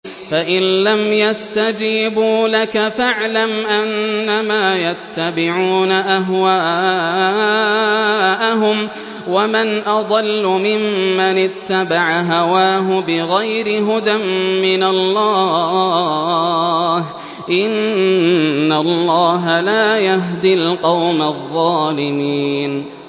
فَإِن لَّمْ يَسْتَجِيبُوا لَكَ فَاعْلَمْ أَنَّمَا يَتَّبِعُونَ أَهْوَاءَهُمْ ۚ وَمَنْ أَضَلُّ مِمَّنِ اتَّبَعَ هَوَاهُ بِغَيْرِ هُدًى مِّنَ اللَّهِ ۚ إِنَّ اللَّهَ لَا يَهْدِي الْقَوْمَ الظَّالِمِينَ